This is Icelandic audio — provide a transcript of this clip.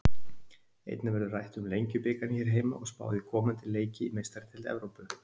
Einnig verður rætt um Lengjubikarinn hér heima og spáð í komandi leiki í Meistaradeild Evrópu.